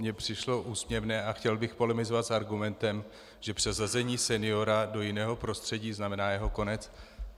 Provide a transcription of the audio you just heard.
Mně přišlo úsměvné a chtěl bych polemizovat s argumentem, že přesazení seniora do jiného prostředí znamená jeho konec.